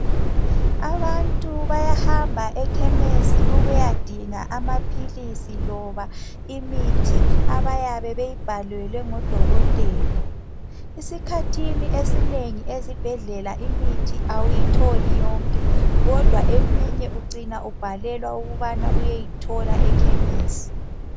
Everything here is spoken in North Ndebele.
Abantu bayahamba ekhemisi ukuyadinga amaphilisi loba imithi abayabe beyibhalelwe ngodokotela. Esikhathini esinengi ezibhedlela imithi awuyitholi yonke ,kodwa eminye ucina ubhalelwa ukubana uyeyithola ekhemisi.